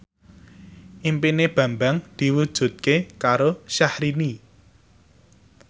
impine Bambang diwujudke karo Syahrini